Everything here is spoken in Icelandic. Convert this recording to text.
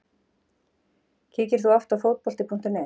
Kíkir þú oft á Fótbolti.net?